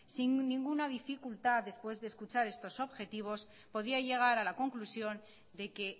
sin ninguna dificultad después de escuchar estos objetivos podía llegar a la conclusión de que